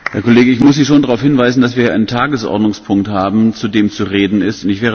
Herr Kollege! Ich muss Sie schon darauf hinweisen, dass wir hier einen Tagesordnungspunkt haben, zu dem zu reden ist.